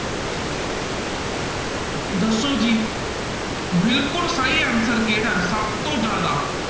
ਦੱਸੋ ਜੀ ਬਿਲਕੁਲ ਸਹੀ answer ਕਿਹੜਾ ਹੈ, ਸਭ ਤੋਂ ਜ਼ਿਆਦਾ